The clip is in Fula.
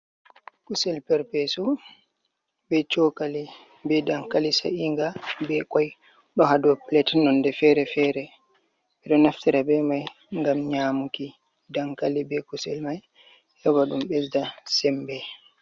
Kusel perpesu, be chokali, be dankali sa’inga, be koi ɗo ha dou pilet nonde fere-fere. Ɓe ɗo naftira be mai ngam nyamuki dankali, be kusel mai; heba dum besda sembe.